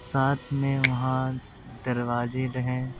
साथ में वहां दरवाजे रहे हैं।